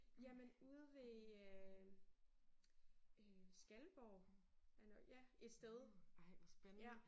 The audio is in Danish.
Jamen ude ved øh øh Skalborg eller ja et sted ja